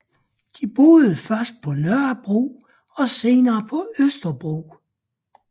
De boede først på Nørrebro og senere på Østerbro